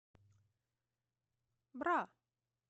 бра